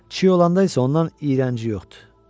Çiy olanda isə ondan iyrənci yoxdur.